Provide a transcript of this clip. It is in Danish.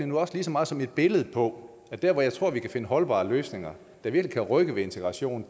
nu også lige så meget som et billede på at der hvor jeg tror vi kan finde holdbare løsninger der virkelig kan rykke ved integrationen